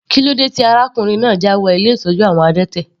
Kílódé tí arákùnrin náà jáwọ ilé ìtọ́jú àwọn adẹ́tẹ̀?